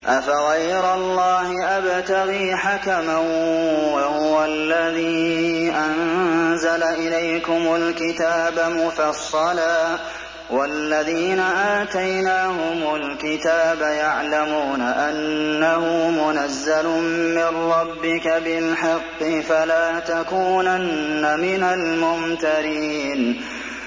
أَفَغَيْرَ اللَّهِ أَبْتَغِي حَكَمًا وَهُوَ الَّذِي أَنزَلَ إِلَيْكُمُ الْكِتَابَ مُفَصَّلًا ۚ وَالَّذِينَ آتَيْنَاهُمُ الْكِتَابَ يَعْلَمُونَ أَنَّهُ مُنَزَّلٌ مِّن رَّبِّكَ بِالْحَقِّ ۖ فَلَا تَكُونَنَّ مِنَ الْمُمْتَرِينَ